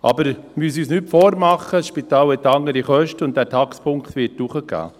Wir müssen uns aber nichts vormachen, das Spital hat andere Kosten und der Taxpunktwert wird steigen.